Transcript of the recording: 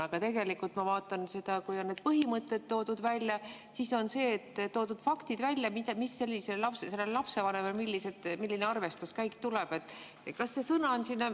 Aga tegelikult ma vaatan, et kui on need põhimõtted välja toodud, siis on toodud faktid, milline arvestuskäik selle lapsevanema puhul tuleb.